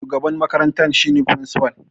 Shugaban makaranta shi ne firinsipal